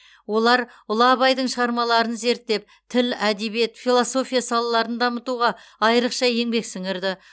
олар ұлы абайдың шығармаларын зерттеп тіл әдебиет философия салаларын дамытуға айрықша еңбек сіңірді